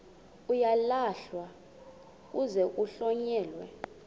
uyalahlwa kuze kuhlonyelwe